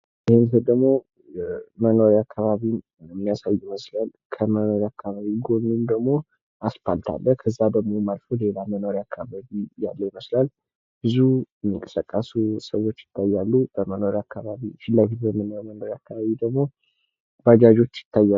ይሄ ምስል ደሞ መኖርያ አካባቢን ሊያሳይ ይመስላል ከመኖርያ አካባቢው ጎንም ደሞ አስፓልት አለ። ከዛ ማዶ ደሞ ሌላ መኖርያ አካባቢ ያለ ይመስላል ብዙ የሚንቀሳቀሱ ሰዎች ይታያሉ። ፊት ለፊት በምናዬው መኖርያ አካባቢ ደሞ ባጃጆች ይታያሉ።